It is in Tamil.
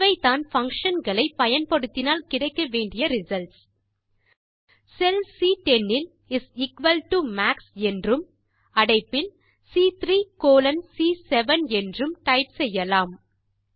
இவைதான் பங்ஷன் களை பயன்படுத்தினால் கிடைக்க வேண்டிய ரிசல்ட்ஸ் செல் சி10 இல் இஸ் எக்குவல் டோ மாக்ஸ் என்றும் அடைப்பில் சி3 கோலோன் சி7 என்றும் டைப் செய்யலாம்